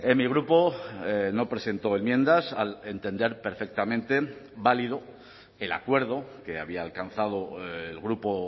mi grupo no presentó enmiendas al entender perfectamente válido el acuerdo que había alcanzado el grupo